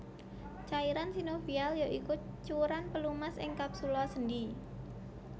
Cairan sinovial ya iku cuwéran pelumas ing kapsula sendhi